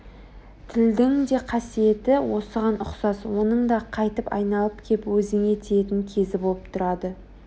тілдің де қасиеті осыған ұқсас оның да қайтып айналып кеп өзіңе тиетін кезі болып тұрады